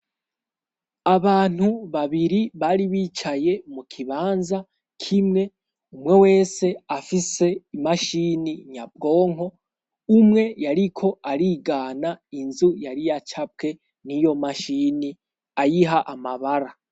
Abantu babiri bari bicaye mu kibanza k'imwe umwe wese afise imashini nyabwonko umwe yariko arigana inzu yari yacapwe n'iyo mashini ayiha amabara.